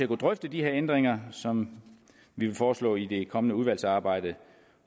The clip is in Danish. kunne drøfte de her ændringer som vi vil foreslå i det kommende udvalgsarbejde